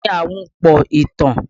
Kí ni Ahunpọ̀ ìtàn?